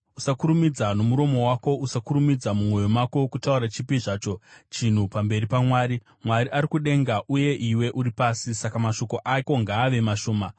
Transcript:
Usakurumidza nomuromo wako, usakurumidza mumwoyo mako kutaura chipi zvacho chinhu pamberi paMwari. Mwari ari kudenga uye iwe uri pasi, saka mashoko ako ngaave mashoma.